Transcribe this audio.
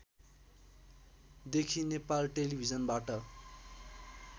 देखि नेपाल टेलिभिजनबाट